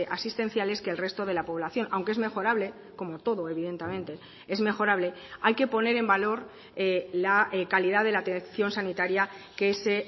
asistenciales que el resto de la población aunque es mejorable como todo evidentemente es mejorable hay que poner en valor la calidad de la atención sanitaria que se